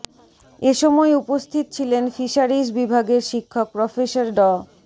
এ সময় উপস্থিত ছিলেন ফিশারিজ বিভাগের শিক্ষক প্রফেসর ড